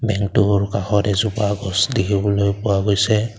বেংকটোৰ কাষত এজোপা গছ দেখিবলৈ পোৱা গৈছে।